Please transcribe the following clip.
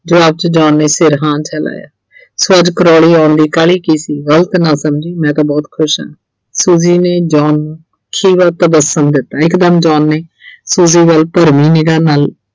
ਜਵਾਬ 'ਚ John ਨੇ ਸਿਰ ਹਾਂ 'ਚ ਹਿਲਾਇਆ so ਅੱਜ Crawley ਆਉਣ ਦੀ ਕਾਹਲੀ ਕੀ ਸੀ, ਗਲਤ ਨਾ ਸਮਝੀ ਮੈਂ ਤਾਂ ਬਹੁਤ ਖੁਸ਼ ਆਂ Suji ਨੇ John ਨੂੰ ਖੀਵਾ ਪ੍ਰਦਰਸ਼ਨ ਦਿੱਤਾ ਇਕਦਮ John ਨੇ Suji ਵੱਲ ਭਰਮੀ ਨਿਗਾ ਨਾਲ